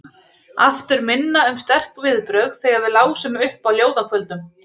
Aftur minna um sterk viðbrögð þegar við lásum upp á ljóðakvöldum.